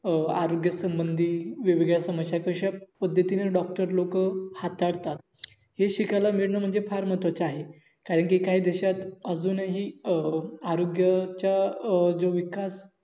अं आरोग्य समंधी वेगवेगळ्या समश्या आहेततशा पद्धती ने Dr लोक तसा हाताळतातहे शिकायला मिलन म्हणजे फार महत्व्हाचे आहे कारण कि काही देशात अजून हि अं आरोग्यच्या जो अं विकास अं